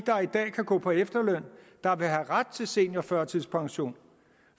dag kan gå på efterløn der vil have ret til seniorførtidspension